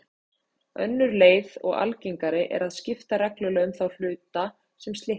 önnur leið og algengari er að skipta reglulega um þá hluta sem slitna